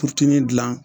Furutimi dilan